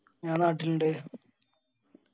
ഞാൻ നാട്ടിൽ ഇണ്ട്.